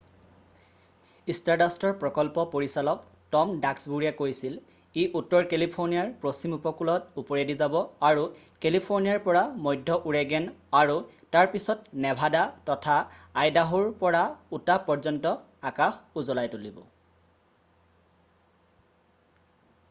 "ষ্টাৰডাষ্টৰ প্ৰকল্প পৰিচালক টম ডাস্কবুৰীয়ে কৈছিল "ই উত্তৰ কেলিফোৰ্নিয়াৰ পশ্চিম উপকূলত ওপৰেদি যাব আৰু কেলিফোৰ্নিয়াৰ পৰা মধ্য ওৰেগেন আৰু তাৰ পিছত নেভাদা তথা আইদাহোৰ পৰা উটাহ পৰ্য্যন্ত, আকাশ উজ্বলাই তুলিব।""